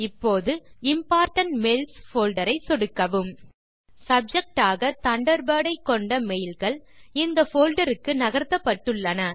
இப்போது important mails folder ஐ சொடுக்கவும் சப்ஜெக்ட் ஆக தண்டர்பர்ட் ஐ கொண்ட மெயில் கள் இந்த போல்டர் க்கு நகர்த்தப்பட்டுள்ளன